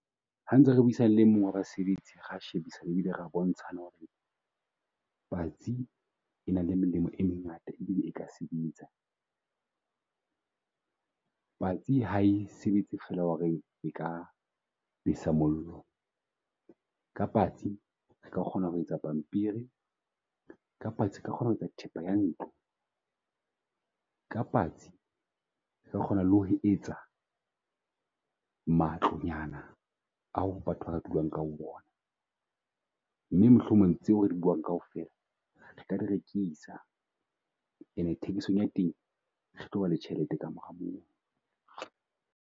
Ha ntse re buisane le mong wa basebetsi, re shebisane bile re bontsha hore patsi e nang le melemo e mengata ebile e ka sebetsa. Patsi hae sebetse fela hore e ka besa mollo. Ka patsi re ka kgona ho etsa pampiri ka patsi re ka kgona ho etsa thepa ya ntlo. Ka patsi o ka kgona ho etsa matlo nyana a batho ba ka dulang ka ho ona. Mme mohlomong tseo re buang kaofela re ka di rekisa ena thekiso ng yateng, re tloba le tjhelete ka mora mono.